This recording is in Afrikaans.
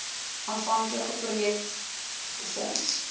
aanvanklike projek befonds